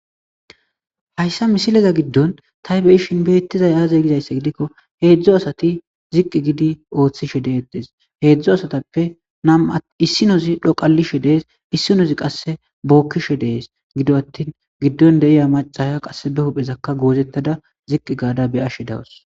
Haysa misilrza gidon ta beyoshin betizays aaze gizaysa gidikon hezhu asati ziqi giidi oothishe de'etes hezhu asatappe issinozi dhoqalishe dees. Issinozi qase bookishe dees gido attin hidon de'iza macaya be hu'e qachada ziiqi gaada beyashe daws.